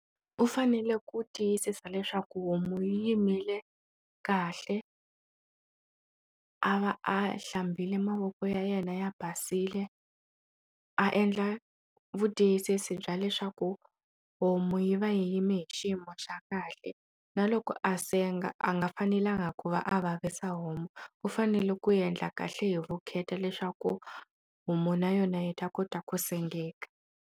U fanele ku tiyisisa leswaku homu yi yimile kahle a va a hlambile mavoko ya yena ya basile a endla vutiyisisi bya leswaku homu yi va yi yime hi xiyimo xa kahle na loko a senga a nga fanelangi ku va a vavisa homu u fanele ku endla kahle hi vukheta leswaku homu na yona yi ta kota ku sengeka.